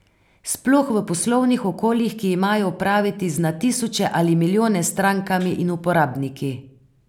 Sploh v poslovnih okoljih, ki imajo opraviti z na tisoče ali milijone strankami in uporabniki.